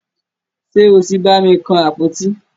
Ṣe o tí bàmi kan àpótí?